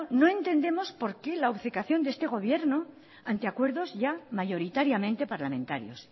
no entendemos porque la obcecación de este gobierno ante acuerdos ya mayoritariamente parlamentarios